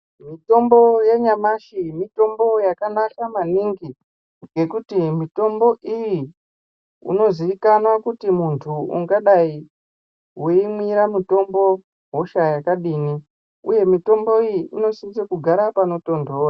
Mutombo yanyamashi mutombo yakanaka maningi ngekuti mitombo iyi unozikanwa kuti muntu ungadaiweimwira mutombo hosha yakadini uye mutombo unofanire kugare panotonhora.